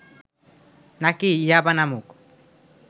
নাকি 'ইয়াবা' নামক